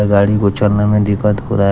गाड़ी को चलने में दिक्कत हो रहा है।